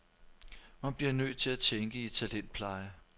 Man bliver nødt til at tænke i talentpleje.